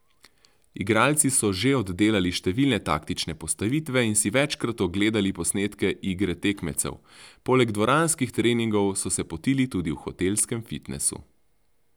Igralci so že oddelali številne taktične postavitve in si večkrat ogledali posnetke igre tekmecev, poleg dvoranskih treningov so se potili tudi v hotelskem fitnesu.